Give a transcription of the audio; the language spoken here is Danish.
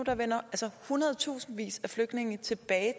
vender hundredtusindvis af flygtninge tilbage